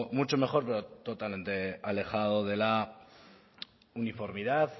mucho mejor pero totalmente alejado de la uniformidad